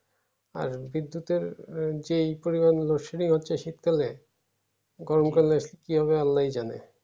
হ্যাঁ বিদ্যুতের যেই পরিমান load shedding হচ্ছে শীতকালে গরমকালে আসলে কি হবে আল্লাই জানে